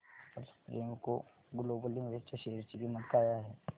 आज Premco global limited च्या share ची किंमत काय आहे